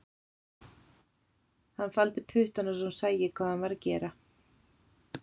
Hann faldi puttana svo hún sæi ekki hvað hann var að gera